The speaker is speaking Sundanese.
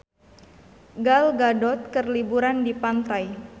Gal Gadot keur liburan di pantai